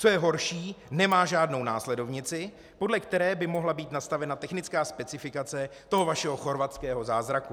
Co je horší, nemá žádnou následovnici, podle které by mohla být nastavena technická specifikace toho vašeho chorvatského zázraku.